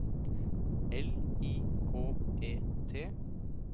L I K E T